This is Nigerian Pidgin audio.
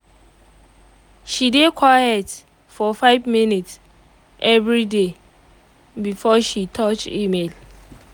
she dey quite for 5 minutes everyday before she touch email